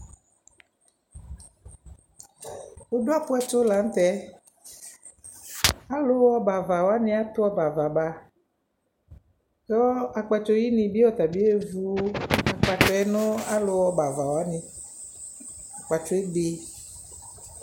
wʋ dʋ apʋ ɛtʋ lantɛ aluha ɔbɛ aɣa ba kʋ akpatsɔ yi ni bi atani ɛvʋ akpatuɛ nʋ alʋ ha ɔbɛ aɣa wani akpatɔɛ ɛbɛ